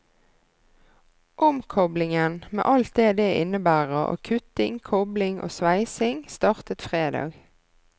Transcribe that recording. Omkoblingen, med alt det det innebærer av kutting, kobling og sveising, startet fredag.